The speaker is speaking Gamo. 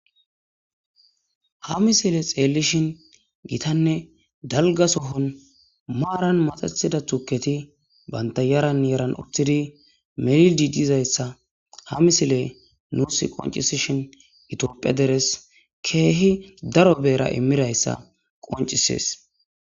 ha misile xeellishin gitanne dalga sohon maaran maxatida tuketi banta yaran yaran utidi melildi dizayssa ha misile nuus qoncisishin itophe deres keehi daro beera immirayssa qoncisees